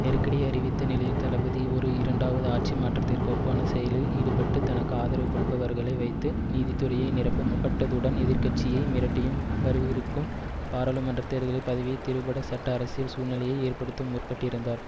நெருக்கடியை அறிவித்த நிலையில் தளபதி ஒரு இரண்டாவது ஆட்சி மாற்றத்திற்கு ஒப்பான செயலில் ஈடுபட்டு தனக்கு ஆதரவு கொடுப்பவர்களை வைத்து நீதித்துறையை நிரப்ப முற்பட்டதுடன் எதிர் கட்சியை மிரட்டியும் வரவிருக்கும் பாராளுமன்ற தேர்தல் பதவியை திருபட சட்டஅரசியல் சூழ்நிலையை ஏற்படுத்துவும் முற்பட்டிருந்தார்